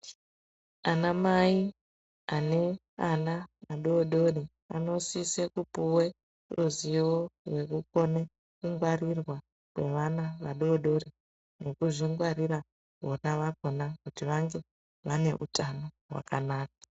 Anamai ane ana adodori anosise kupuwe ruziwo rwekukone kungwarirwa kweana vadodori nekuzvingwarira vona vakona kuti vange vane utano hwakanaka.